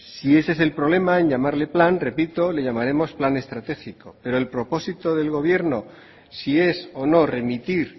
si ese es el problema en llamarle plan repito le llamaremos plan estratégico pero el propósito del gobierno si es o no remitir